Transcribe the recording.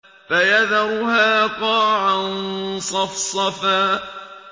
فَيَذَرُهَا قَاعًا صَفْصَفًا